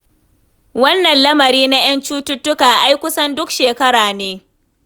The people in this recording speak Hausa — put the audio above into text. Wannan lamari na ƴan cututtuka ai kusan duk shekara ne.